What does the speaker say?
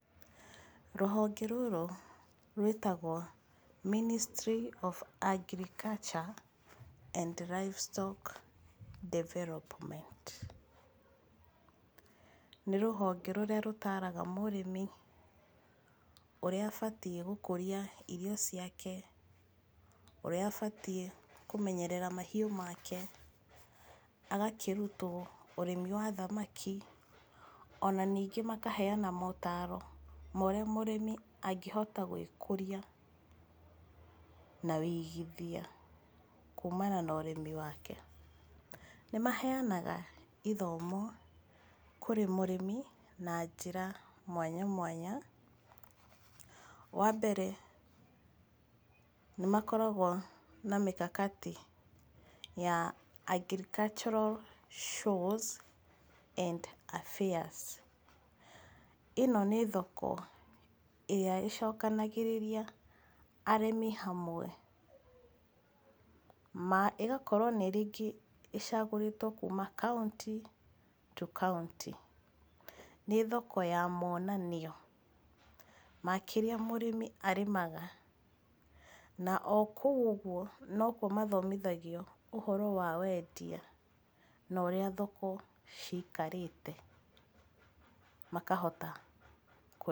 Rũhonge rũrũ rwĩtagwo Ministry of Agriculture and livestock Development, nĩ rũhonge rũrĩa rũtaaraga mũrĩmi ũrĩa abatiĩ gũkũria irio ciake, ũrĩa abatiĩ kũmenyerera mahiũ make. Agakĩrutwo ũrĩmi wa thamaki ona ningĩ makaheana motaaro ma ũrĩa mũrĩmi angĩhota gwĩkũria na wĩigithia kumana na ũrĩmi wake. Nĩmaheanaga ithomo kũrĩ mũrĩmi na njĩra mwanya mwanya. Wambere nĩmakoragwo na mĩkakati ya agricultural shows and affairs, ĩno nĩ thoko ĩrĩa ĩcokanagĩrĩria arĩmi hamwe ma ĩgakorwo n ĩ rĩngĩ ĩcagũrĩtwo kuma kauntĩ to kauntĩ nĩ thokjo ya monanio ma kĩrĩa mũrĩmi arĩmaga, na okũu ũguo nokuo mathomithagio ũhoro wa wendia na ũrĩa thoko cikarĩte makahota